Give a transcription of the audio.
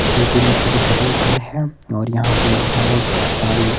दो तीन छोटे छोटे घर है और यहां पर बहोत सारी--